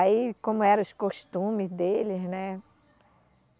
Aí, como eram os costumes deles, né?